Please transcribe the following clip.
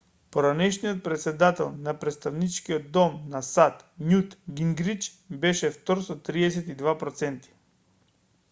поранешниот претседател на претставничкиот дом на сад њут гингрич беше втор со 32 проценти